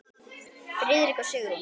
Friðrik og Sigrún.